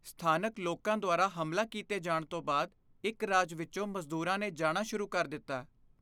ਸਥਾਨਕ ਲੋਕਾਂ ਦੁਆਰਾ ਹਮਲਾ ਕੀਤੇ ਜਾਣ ਤੋਂ ਬਾਅਦ ਇੱਕ ਰਾਜ ਵਿੱਚੋਂ ਮਜ਼ਦੂਰਾਂ ਨੇ ਜਾਣਾ ਸ਼ੁਰੂ ਕਰ ਦਿੱਤਾ।